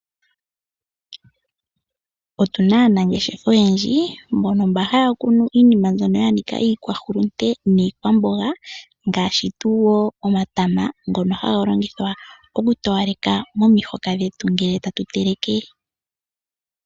Otuna aanangeshefa oyendji mbono haakunu iinima yanika iikwahulunde niikwambonga ngaashi tuu wo omatama ngono haga longithwa oku towalekitha momihoka ngele tatu teleke.